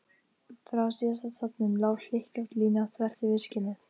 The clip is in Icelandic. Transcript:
Frá síðasta stafnum lá hlykkjótt lína þvert yfir skinnið.